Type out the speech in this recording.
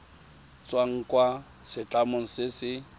tswang kwa setlamong se se